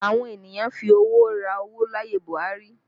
Àwọn ènìyàn ń fi owó ra owó láyé Buhari